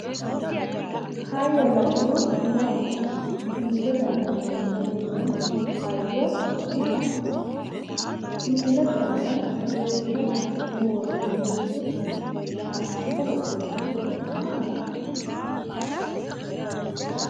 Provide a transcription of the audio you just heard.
Hayyonna budu maati? Misilete aana leeltanni noo hayyo maati? Misilete aana leellishate hasi'ne woroonnirichi haqqicho lawannorichi maati?